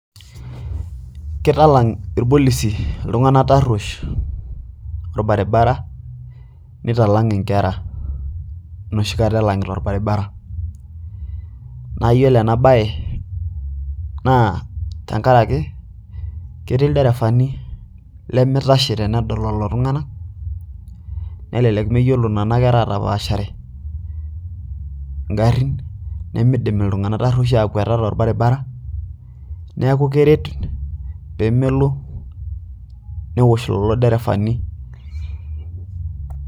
Kitalang irpolisi iltung'anak taruoesh orbaribara nitalang inkera enoshikata elang'ita orbaribara naayiolo ena baye naa tenkaraki ketii ilderefani lemeitashe tenedol lelo tung'anak nelelek mayiolo nena kera aatapaashare ingarin nemeidim iltung'anak taruesh aakwata torbaribara neeku keret peemelo newosh lelo derevani .